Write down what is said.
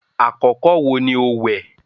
àkọkọ wo ni o wẹ̀?